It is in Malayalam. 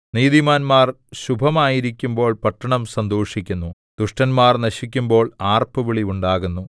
നീതിമാന്മാർ ശുഭമായിരിക്കുമ്പോൾ പട്ടണം സന്തോഷിക്കുന്നു ദുഷ്ടന്മാർ നശിക്കുമ്പോൾ ആർപ്പുവിളി ഉണ്ടാകുന്നു